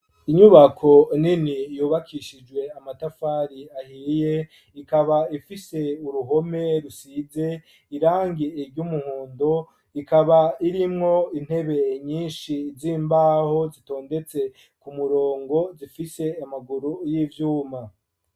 Inyubako nini yubakishijwe amatafari ahiye ,ikaba ifise uruhome rusize irangi iry'umuhondo ,ikaba irimwo intebe nyinshi z'imbaho zitondetse ku murongo zifise amaguru y'ivyuma.